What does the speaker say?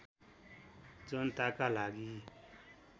जनताका लागि